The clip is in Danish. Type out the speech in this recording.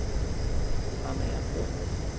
Amagerbro